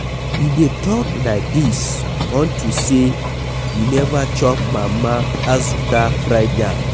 You dey talk like dis unto say you never chop mama Azuka fried yam.